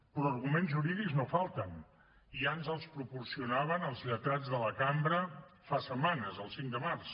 però arguments jurídics no en falten ja ens els proporcionaven els lletrats de la cambra fa setmanes el cinc de març